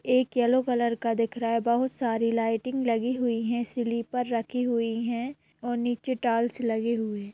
एक yellow colour का दिख रहा है बहुत सारी लाइटिंग लगी हुईं है स्लीपरस रखी हुई है और नीचे टाइल्स लगे हुए है।